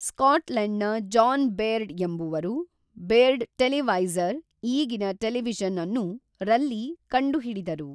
ಸ್ಕಾಟ್ಲೆಂಡ್ನ John Baird ಎಂಬವರು Baird televisor ಈಗಿನ television ಅನ್ನು ರಲ್ಲಿ ಕಂಡುಹಿಡಿದರು